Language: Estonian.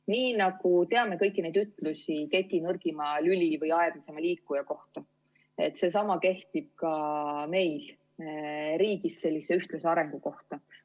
Nii nagu me teame kõiki neid ütlusi keti nõrgima lüli või aeglaseima liikuja kohta, seesama kehtib ka meil riigis sellise ühtlase arengu kohta.